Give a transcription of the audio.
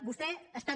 vostè està